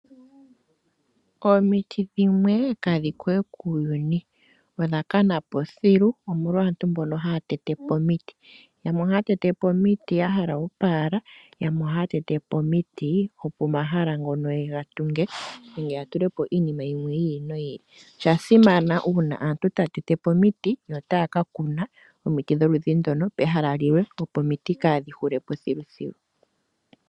Omiti dhimwe kadhi kowe kuuyuni odha kana po thilu omolwa aantu mbono haya tete po omiti. Yamwe ohaya tete po omiti ya hala oopaala yamwe ohaya tete po omiti opo omahala ngono yega tunge nenge ya tulepo iinima yimwe yi ili noyi ili. Osha simana uuna aantu taya tete po omiti yo taya kakuna omiti dholudhi ndono pehala limwe opo omiti kaadhi hulepo thilu.